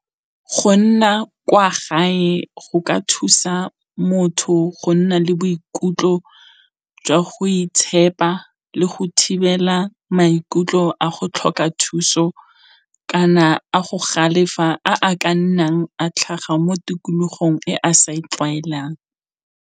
Go nna kwa gae go ka thusa motho go nna le boikutlo jwa go itshepa le go thibela maikutlo a go tlhoka thuso, kana a go galefela a a ka nnang a tlhaga mo tikologong e a sa e tlwaelang.